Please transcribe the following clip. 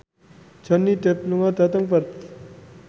Johnny Depp lunga dhateng Perth